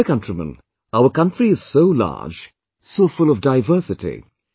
My dear countrymen, our country is so large...so full of diversity